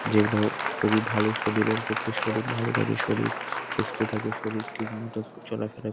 যেগুলো খুবই ভালো শরীরের পক্ষে শরীর ভালো থাক শরীর সুস্থ থাকে শরীর ঠিকঠাক চলাফেরা--